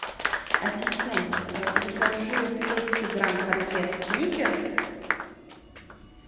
ассистент закажи двести грамм конфет сникерс